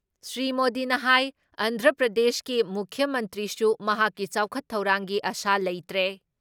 ꯁ꯭ꯔꯤ ꯃꯣꯗꯤꯅ ꯍꯥꯏ ꯑꯟꯗ꯭ꯔ ꯄ꯭ꯔꯗꯦꯁꯀꯤ ꯃꯨꯈ꯭ꯌ ꯃꯟꯇ꯭ꯔꯤꯁꯨ ꯃꯍꯥꯛꯀꯤ ꯆꯥꯎꯈꯠ ꯊꯧꯔꯥꯡꯒꯤ ꯑꯁꯥ ꯂꯩꯇ꯭ꯔꯦ